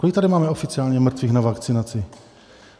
Kolik tady máme oficiálně mrtvých na vakcinaci?